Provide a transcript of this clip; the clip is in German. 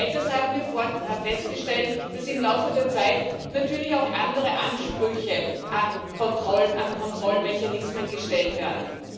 Des Weiteren haben wir festgestellt, dass im Laufe der Zeit natürlich auch andere Ansprüche an Kontrollen, an Kontrollmechanismen gestellt werden.